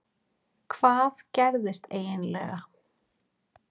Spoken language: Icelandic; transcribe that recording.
Hvað gerðist eiginlega?